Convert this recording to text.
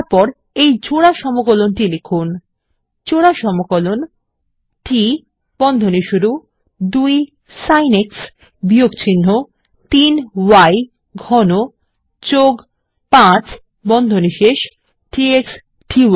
তারপর এই জোড়া সমকলন টি লিখুন জোড়া সমকলন T ২ সিন x বিযগ্চিহ্ন ৩ y ঘন ৫ ডিএক্স ডি